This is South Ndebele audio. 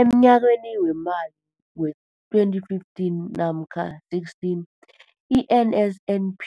Emnyakeni weemali we-2015 namkha 16, i-NSNP